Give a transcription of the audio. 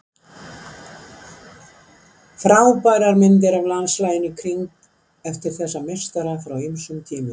Frábærar myndir af landslaginu í kring eftir þessa meistara frá ýmsum tímum.